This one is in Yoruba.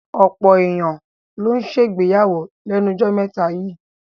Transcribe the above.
Ọ̀pọ̀ èyàn ló ń ṣègbéyàwó lẹ́nu jọ́ mẹ́ta yíì.